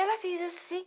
Ela fez assim.